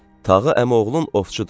Tağı əmioğlun ovçudur.